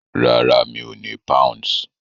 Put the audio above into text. Rárá, mi ò ní Pounds.